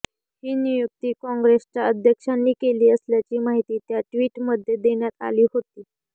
ही नियुक्ती काँग्रेसच्या अध्यक्षांनी केली असल्याची माहिती त्या ट्वीटमध्ये देण्यात आली होती